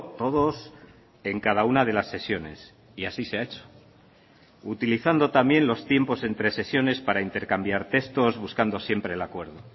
todos en cada una de las sesiones y así se ha hecho utilizando también los tiempos entre sesiones para intercambiar textos buscando siempre el acuerdo